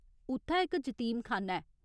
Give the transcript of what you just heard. उत्थै इक जतीमखाना ऐ।